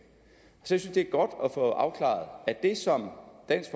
synes det er godt at få afklaret at det som dansk